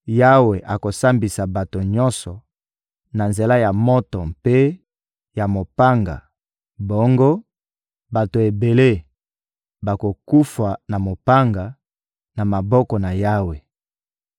Yawe akosambisa bato nyonso na nzela ya moto mpe ya mopanga; bongo, bato ebele bakokufa na mopanga, na maboko na Yawe.